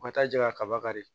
U ka taa ja kaba de